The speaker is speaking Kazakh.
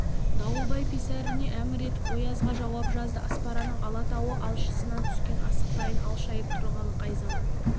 дауылбай писаріне әмір етіп оязға жауап жазды аспараның алатауы алшысынан түскен асықтайын алшайып тұрғалы қай заман